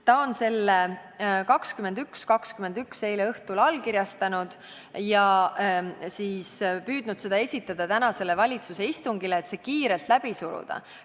Ta allkirjastas selle kell 21.21 eile õhtul ja siis püüdis seda esitada tänasele valitsuse istungile, et see kiirelt läbi suruda.